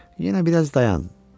Yenə biraz dayan.